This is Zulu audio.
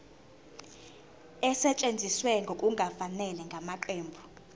esetshenziswe ngokungafanele ngamaqembu